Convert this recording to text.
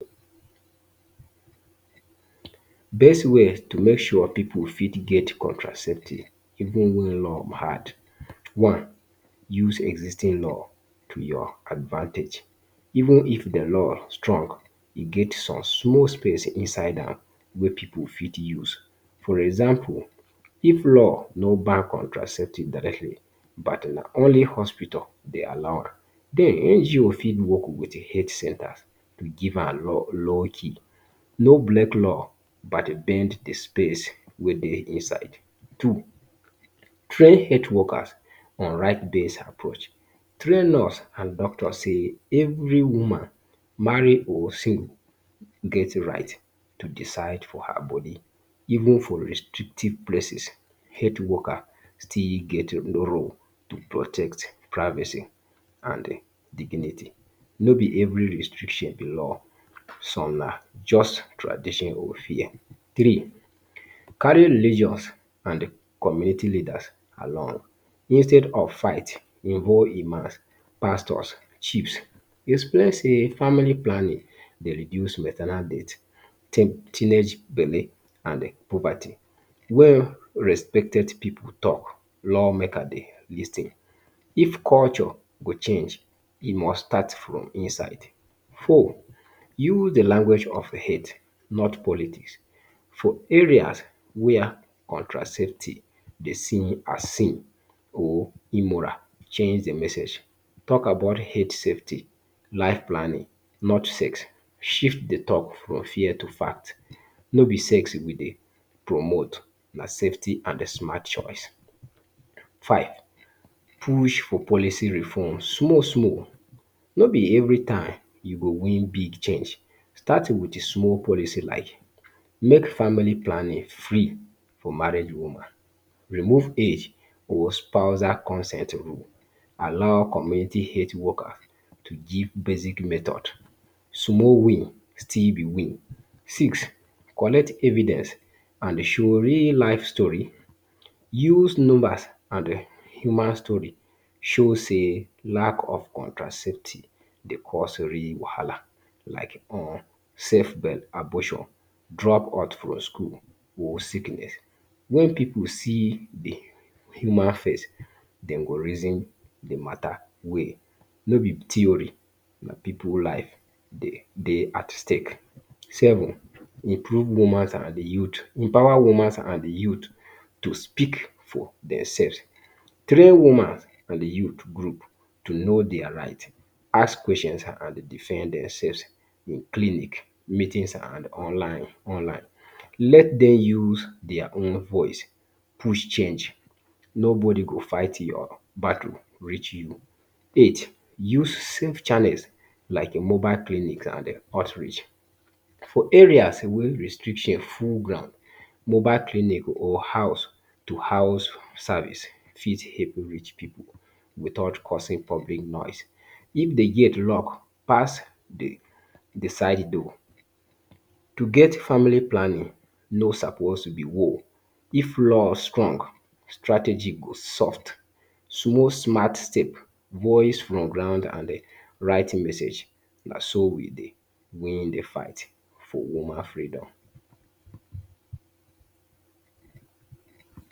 Best way to make sure pipu fit get contraceptive even wey law hard, one, use existing law to your advantage, even if di law strong, e get some small space inside am wey pipu fit use. For example, if law nor ban contraceptive directly but na only hospital dey allow am, den NGO fit work wit health centres to give am low low key. Nor break law but bend di space wey dey inside. Two, train health workers on right base approach. Train nurse and doctor sey, every woman marry or single get right to decide for her body, even for restrictive places, health worker still get enough role to protect di privacy and di dignity. No be every restriction be law, some na just tradition or fear. Three, carry religious and community leaders along instead of fight even imams, pastors, chiefs. Explain say family planning dey reduce maternal date, teen teenage belle and puberty. Where respected pipu talk, law makers dey lis ten. If culture go change, e must start from inside. Four, use di language of head, not politics. For areas where contraceptive dey see as sin or immoral, change di message. Talk about health safety, life planning, not sex. Shift di talk from fear to fact. Nor be sex we dey promote, na safety and smart choice. Five, push for policy reform small small, no be every time you go win big change. Start wit small policy like; make family planning free for married woman, remove age or spousal consent rule, allow community health worker to give basic methods. Small win still be win. Six, collect evidence and show real life story. Use numbers and human story show sey lack of contraceptive dey cause real wahala like; unsafe belle abortion, drop out from school or sickness. Wen pipu see di human face, den go reason di mata well. No be theory, na pipu life dey dey at stake. Seven, improve woman and youth, empower woman and youth to speak for themselves. Train woman and youth group to know dia right, ask questions and defend dem selves in clinic, meetings and online online. Let dem use dia own voice push change, nobody go fight your battle reach you. Eight, use safe channels like mobile clinics and outreach. For areas wey restrictions full ground, mobile clinic or house to house service fit help reach pipu without causing public noise. If de gate lock pass di side door. To get family planning nor suppose to be war. If law strong, strategy go soft. Small smart step, voice for ground and um right message, naso we dey win di fight for woman freedom.